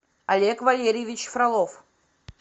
олег валерьевич фролов